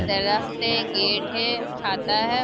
दरक पे गेट है छाता है।